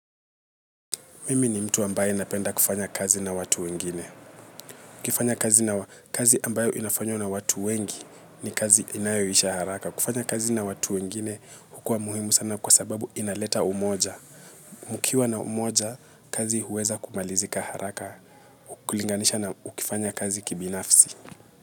Mimi ni mtu ambaye anapenda kufanya kazi na watu wengine. Ukifanya kazi ambayo inafanywa na watu wengi ni kazi inayoisha haraka. Kufanya kazi na watu wengine hukuwa muhimu sana kwa sababu inaleta umoja. Mukiwa na umoja, kazi huweza kumalizika haraka. Kulinganisha na ukifanya kazi kibinafsi.